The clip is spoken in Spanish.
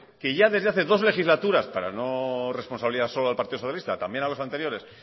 que ya hace dos legislaturas para no responsabilizar solo al partido socialista también a los anteriores